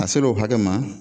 A ser'o hakɛ ma